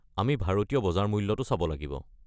আমি ভাৰতীয় বজাৰ মূল্যটো চাব লাগিব।